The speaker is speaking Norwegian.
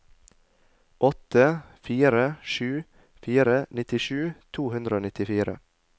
åtte fire sju fire nittisju to hundre og nittifire